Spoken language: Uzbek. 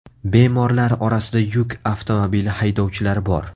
Bemorlar orasida yuk avtomobili haydovchilari bor.